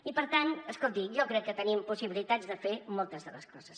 i per tant escolti jo crec que tenim possibilitats de fer moltes de les coses